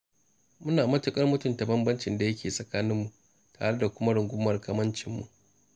Muna mutuƙar mutunta bambancin da yake tsakaninmu tare kuma da rungumar kamancinmu.